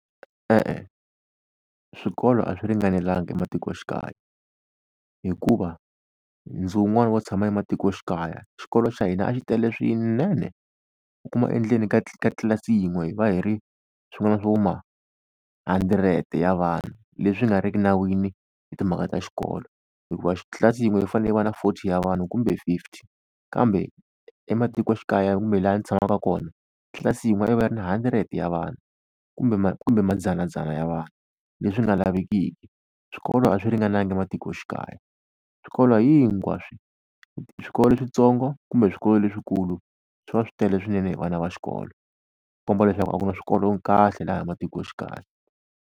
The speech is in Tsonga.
E-e swikolo a swi ringanelanga ematikoxikaya, hikuva ndzi wun'wani wo tshama ematikoxikaya xikolo xa hina a xi tele swinene. U kuma endzeni ka ka tlilasi yin'we hi va hi ri swin'wana swo ma-hundred ya vana, leswi nga ri ki nawini hi timhaka ta xikolo, hikuva tlilasi yin'we yi fanele yi va na forty wa vanhu kumbe fifty. Kambe ematikoxikaya kumbe laha ndzi tshamaka kona tlilasi yin'we a yi va yi ri ni hundred ya vanhu kumbe kumbe mandzanandzana ya vanhu, leswi nga lavekiki. Swikolo a swi ringananga ematikoxikaya. Swikolo hinkwaswo swikolo switsongo kumbe swikolo leswikulu swi va swi tele swinene hi vana va xikolo, swi komba leswaku a ku na swikolo kahle laha matikoxikaya.